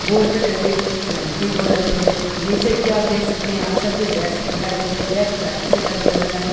Board पे कई painting हो रखी है नीचे की और देख सकते हैं हम सब की डेक्स दिखाई दे रही हैं डेक्स लाइन से लगे हुए हैं।